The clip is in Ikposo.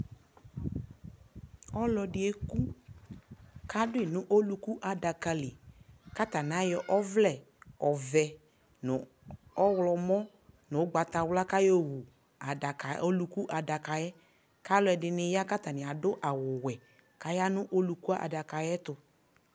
ɔlɔdi ɛkʋ ka adʋi nʋ ɔlʋkʋ adakali kʋ atani ayɔ ɔvlɛ ɔvɛ nʋ ɔwlɔmʋ nʋɔgbatawla kʋayɔ wʋ adakaɛ ,ɔlʋkʋ adakaɛ kʋ alʋɛdini ya kʋ atani adʋ awʋ wɛ, ayanʋ ɔlʋkʋadakaɛ ayɛtʋ